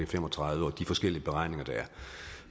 fem og tredive og de forskellige beregninger der